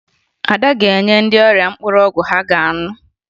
Ada ga-enye ndị ọrịa mkpụrụ ọgwụ ha ga-aṅụ